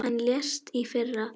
Hann lést í fyrra.